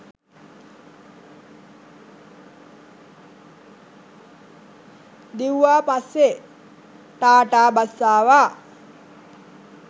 දිව්වා පස්සේ ටාටා බස් ආවා